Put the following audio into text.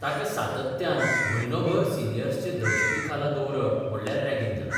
ताका सातत्यान म्हयनोभर सिनियर्सचे दहशती खाला दवरप म्हणल्यार रॅगिंग जालां.